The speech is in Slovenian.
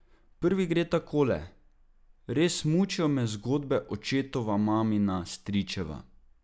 Prvi gre takole: "Res, mučijo me zgodbe, očetova, mamina, stričeva.